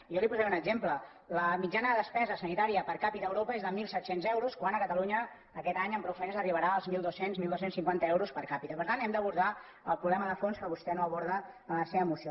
jo li posaré un exemple la mitjana de despesa sanitària per capita a europa és de mil set cents euros quan a catalunya aquest any amb prou feines arribarà als mil dos cents dotze cinquanta euros per capitad’abordar el problema de fons que vostè no aborda en la seva moció